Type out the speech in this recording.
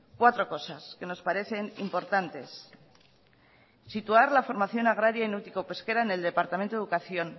cuatro cosas que nos parecen importantes situar la formación agraria y náutico pesquera en el departamento de educación